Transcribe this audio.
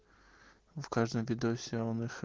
в каждом видосе он их